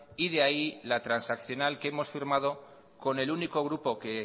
y de ahí la transaccional que hemos firmado con el único grupo que